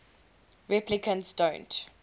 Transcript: replicants don't